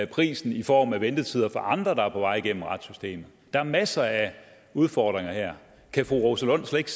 prisen i form af ventetider for andre der er på vej igennem retssystemet der er masser af udfordringer her kan fru rosa lund slet